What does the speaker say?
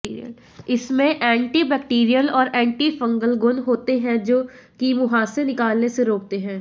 इसमें एंटीबैक्टीरियल और anti fungal गुण होते हैं जो कि मुंहासे निकलने से रोकते हैं